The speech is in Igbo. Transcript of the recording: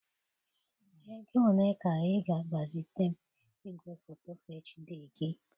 Ego ole ka ị ga-agbazite m igwefoto HD gị?